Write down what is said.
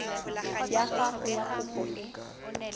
ya gago ya kopo e